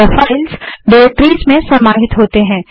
यह files directories में समाहित होती हैं